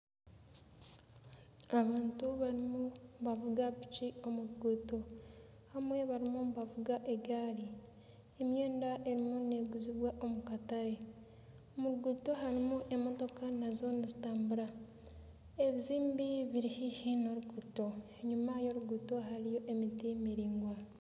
Abantu barimu nibavuga piki omu ruguuto bamwe barimu nibavuga egaari. Emyenda erimu neeguzibwa omu katare. Omu ruguuto harimo emotoka nazo zirimu nizitambura. Ebizimbe biri haihi n'oruguuto, enyima y'oruguuto hariyo emiti miraingwa.